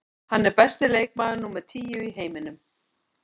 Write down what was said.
Hann er besti leikmaður númer tíu í heiminum.